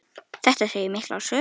Þetta segir mikla sögu.